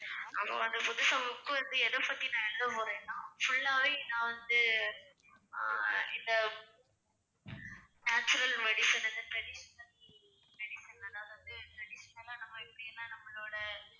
அப்ப அந்த புதுசா book வந்து எதைப்பத்தி நான் எழுத போறேன்னா full ஆவே நான் வந்து ஆஹ் இந்த natural medicine வந்து traditional traditional அதாவது வந்து traditional ஆ நம்ம இப்படியெல்லாம் நம்மளோட